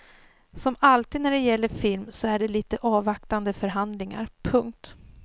Som alltid när det gäller film så är det lite avvaktande förhandlingar. punkt